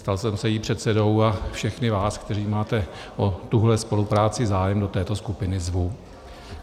Stal jsem se jejím předsedou a všechny vás, kteří máte o tuhle spolupráci zájem, do této skupiny zvu.